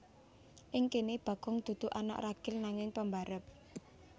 Ing kene Bagong dudu anak ragil nanging pambarep